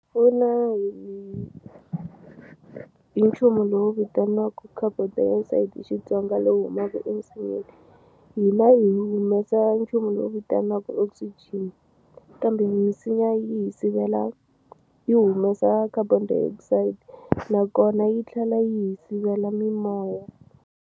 Pfuna hi hi nchumu lowu vitaniwaku carbon dioxide hi Xitsonga lowu humaku eminsinyeni hina hi humesa nchumu lowu vitaniwaku oxygen kambe misinya yi hi sivela yi humesa carbon dioxide nakona yi tlhela yi hi sivela mimoya.